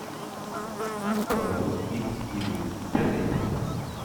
кайл икс игрек пятый эпизод